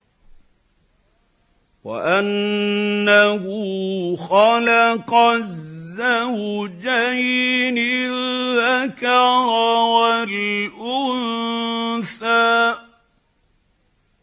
وَأَنَّهُ خَلَقَ الزَّوْجَيْنِ الذَّكَرَ وَالْأُنثَىٰ